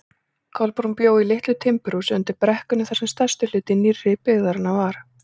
Kolbrún bjó í litlu timburhúsi undir brekkunni þar sem stærsti hluti nýrri byggðarinnar var.